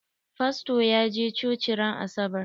Fasto ya je coci ran asabar.